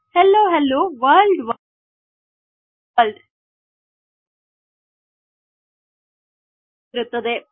ಹೆಲ್ಲೋಹೆಲ್ಲೋವರ್ಲ್ಡ್ವರ್ಲ್ಡ್ strings immutable ಆಗಿರುತ್ತದೆ